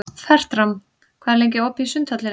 Fertram, hvað er lengi opið í Sundhöllinni?